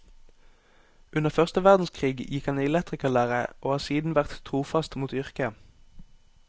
Under første verdenskrig gikk han i elektrikerlære og har siden vært trofast mot yrket.